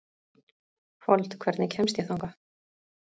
Fold, hvernig kemst ég þangað?